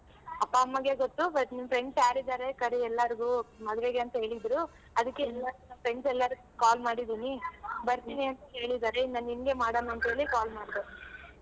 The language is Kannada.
ಅಪ್ಪ ಅಮ್ಮಗೆ ಗೊತ್ತು but ನಿನ್ friends ಯಾರ್ ಇದಾರೆ ಕರಿ ಎಲ್ಲಾರ್ಗು ಮದ್ವೆಗೆ ಅಂತ ಹೇಳಿದ್ರು friends ಎಲ್ಲಾರಿಗೂ call ಮಾಡಿದೀನಿ ಬರ್ತೀನಿ ಅಂತ ಹೇಳಿದಾರೆ ಇನ್ನ ನಿಂಗೆ ಮಾಡಣ ಅಂತ್ ಹೇಳಿ call.